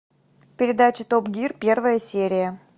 передача топ гир первая серия